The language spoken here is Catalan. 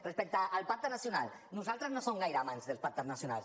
respecte al pacte nacional nosaltres no som gaire amants dels pactes nacionals